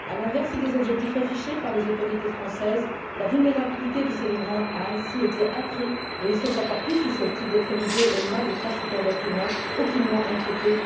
À l'inverse des objectifs fixés par les autorités françaises, la vulnérabilité de ces migrants a ainsi été accrue et ils sont encore plus susceptibles d'être livrés aux mains des trafiquants d'êtres humains qui, eux, ne sont finalement aucunement inquiétés.